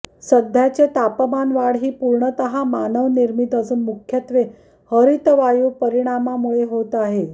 सध्याचे तापमानवाढ ही पूर्णतः मानवनिर्मित असून मुख्यत्वे हरितवायू परिणामामुळे होत आहे